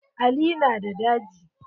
Ali na da daji.